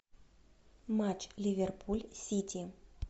матч ливерпуль сити